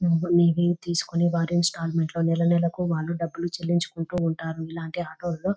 హ్మ్ ఇది తీసుకొని వారి ఇన్స్టాల్మెంట్ లోని నెల నెలలకు వాల్లు డబ్బులు చెల్లించుకుంటూ ఉంటారు ఇలాంటి ఆటోలలో.